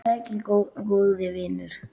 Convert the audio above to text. Vertu sæll, góði vinur.